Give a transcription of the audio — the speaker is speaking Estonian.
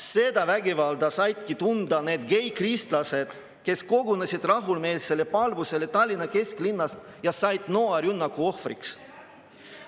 Seda vägivalda saidki tunda need geikristlased, kes kogunesid rahumeelsele palvusele Tallinna kesklinnas ja sattusid noarünnaku ohvriks.